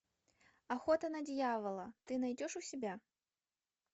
охота на дьявола ты найдешь у себя